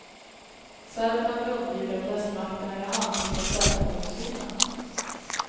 Serberna vill undvika att västmakterna i handling tar ställning för muslimerna.